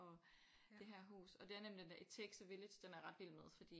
Og det her hus og det er nemlig den her it takes a village den er jeg ret vild med fordi